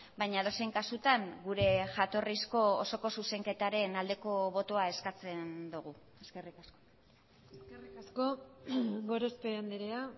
baina edozein kasutan gure jatorrizko osoko zuzenketaren aldeko botoa eskatzen dugu eskerrik asko eskerrik asko gorospe andrea